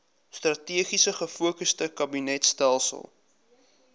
strategies gefokusde kabinetstelsel